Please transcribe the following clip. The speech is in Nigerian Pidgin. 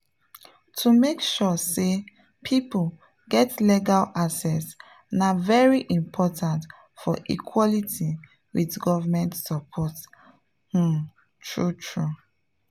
to make sure say people get legal access na very important for equality with government support… pause true true.